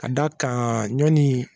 Ka da kan ɲɔni